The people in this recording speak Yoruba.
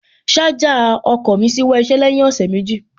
Ṣájà ọkọ̀ mí ṣíwọ́ iṣẹ́ lẹ́yìn ọ̀sẹ̀ méjì